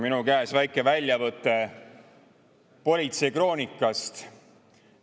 Minu käes väike väljavõte politseikroonikast.